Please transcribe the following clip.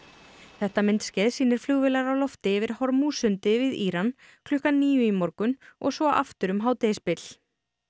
þetta myndskeið sýnir flugvélar á lofti yfir við Íran klukkan níu í morgun og svo aftur um hádegisbil